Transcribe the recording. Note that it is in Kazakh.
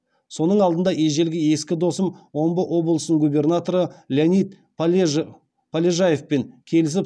соның алдында ежелгі ескі досым омбы облысының губернаторы леонид полежаевпен келісіп